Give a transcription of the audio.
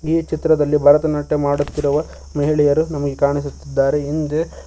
ಈ ಚಿತ್ರದಲ್ಲಿ ಭರತನಾಟ್ಯ ಮಾಡುತ್ತಿರುವ ಮಹಿಳೆಯರು ನಮಗೆ ಕಾಣಿಸುತ್ತಿದ್ದಾರೆ ಹಿಂದೆ--